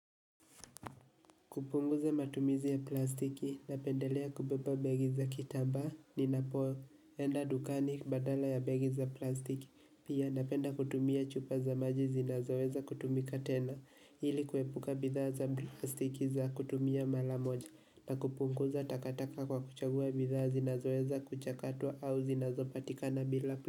Kupunguza matumizi ya plastiki napendelea kubeba begi za kitaba ni napo, enda dukani badala ya begi za plastiki, pia napenda kutumia chupa za maji zinazoweza kutumika tena, ili kuepuka bidhaa za plastiki za kutumia mara moja na kupunguza takataka kwa kuchagua bidhaa zinazoweza kuchakatwa au zinazopatikana bila plastiki.